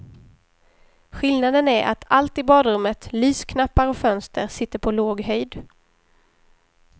Skillnaden är att allt i badrummet, lysknappar och fönster sitter på låg höjd.